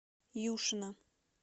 юшина